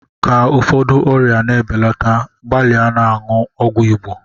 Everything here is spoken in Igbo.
Ka ụfọdụ ọrịa na-ebelata gbalịa na-aṅụ ọgwụ Igbo.